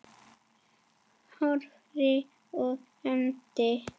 Hórarí og hefnd?